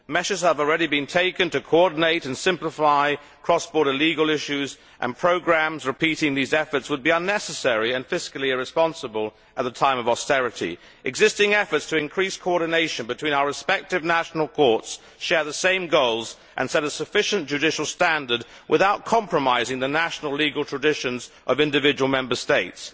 Measures have already been taken to coordinate and simplify cross border legal issues, and programmes repeating these efforts would be unnecessary and fiscally irresponsible at a time of austerity. Existing efforts to increase coordination between our respective national courts share the same goals and set a sufficient judicial standard without compromising the national legal traditions of individual Member States.